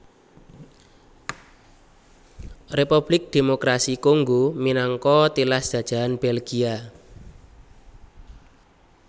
Republik Démokrasi Kongo minangka tilas jajahan Belgia